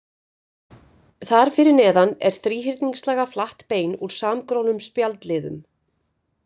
Þar fyrir neðan er þríhyrningslaga flatt bein úr samgrónum spjaldliðum.